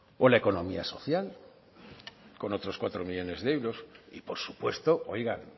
o la economía social con otros cuatro millónes de euros y por supuesto oigan